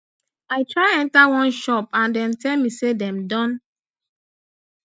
i try enta one shop and dem tell me say dem don